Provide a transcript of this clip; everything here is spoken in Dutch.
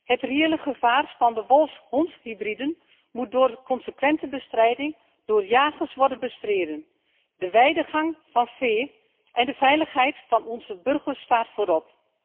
Het reële gevaar van wolf hondhybriden moet door consequente bestrijding door jagers worden bestreden de weidegang van vee en de veiligheid van onze burgers staat voorop.